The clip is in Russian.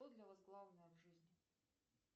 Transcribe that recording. что для вас главное в жизни